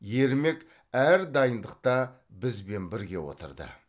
ермек әр дайындықта бізбен бірге отырды